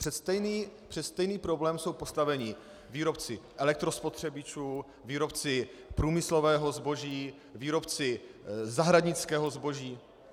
Před stejný problém jsou postaveni výrobci elektrospotřebičů, výrobci průmyslového zboží, výrobci zahradnického zboží.